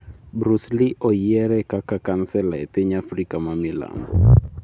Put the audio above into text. Bruce Lee' oyiere kaka kansela e piny Afrika ma Milambo